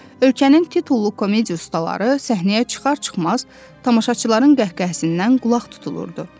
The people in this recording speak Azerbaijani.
Ölkənin titullu komediya ustaları səhnəyə çıxar-çıxmaz tamaşaçıların qəhqəhəsindən qulaq tutulurdu.